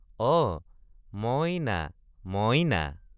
অ মই—না—ম—ই—না।